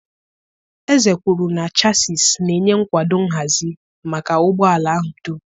Eze kwuru na chassịs na-enye nkwado nhazi maka ụgbọ ala ahụ dum.